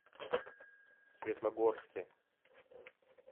светлогорске